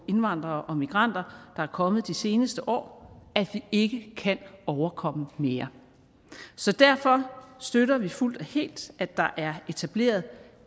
indvandrere og migranter der er kommet de seneste år at vi ikke kan overkomme mere så derfor støtter vi fuldt og helt at der er etableret